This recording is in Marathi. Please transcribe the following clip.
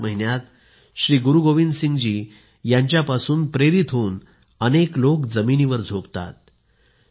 याच महिन्यात श्री गुरु गोविंदसिंग जी यांच्या पासून प्रेरित होऊन अनेक लोक जमिनीवर झोपतात